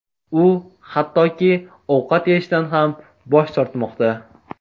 U hattoki ovqat yeyishdan ham bosh tortmoqda.